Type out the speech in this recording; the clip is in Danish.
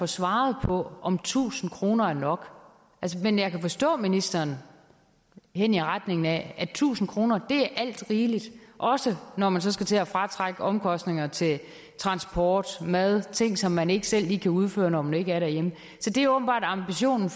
svaret på om tusind kroner er nok men jeg kan forstå ministeren hen i retning af at tusind kroner er alt rigeligt også når man skal til at fratrække omkostninger til transport mad ting som man ikke selv lige kan udføre når man ikke er derhjemme så det er åbenbart ambitionen